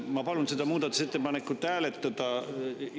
Ma palun seda muudatusettepanekut hääletada.